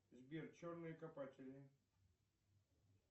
сбер черные копатели